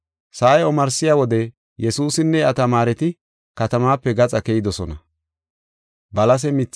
Sa7ay omarsiya wode Yesuusinne iya tamaareti katamaape gaxa keyidosona.